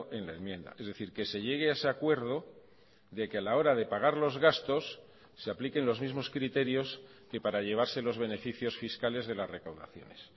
en la enmienda es decir que se llegue a ese acuerdo de que a la hora de pagar los gastos se apliquen los mismos criterios que para llevarse los beneficios fiscales de las recaudaciones